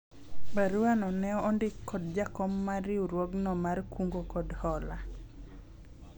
barua no ne ondik kod jakom mar riwruogno mar kungo kod hola